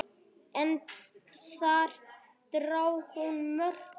En þar dró hún mörkin.